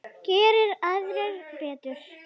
Geri aðrir betur!